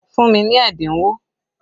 Fún mi ní ẹ́dínwó!